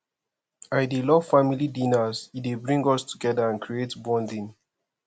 i dey love family dinners e dey bring us together and create bonding